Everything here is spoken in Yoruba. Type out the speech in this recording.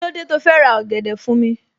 Kílódé tó fẹ́ ra ọ̀gẹ̀dẹ̀ fún mi